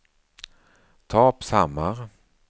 Torpshammar